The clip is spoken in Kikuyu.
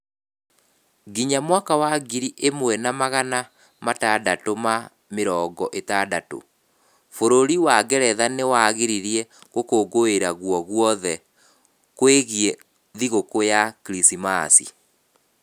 Nginya mwaka wa ngiri ĩmwe na magana matandatũ ma mĩrongo ĩtandatũ, bũrũri wa Ngeretha nĩ wagiririe gũkũngũĩra guoguothe kwĩgie thigũkũ ya kiricimaci.